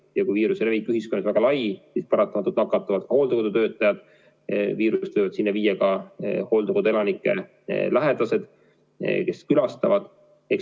Ja kui viiruse levik ühiskonnas on väga lai, siis paratamatult nakatuvad ka hooldekodutöötajad ja viirust võivad sinna viia ka hooldekoduelanike lähedased, kes neid külastavad.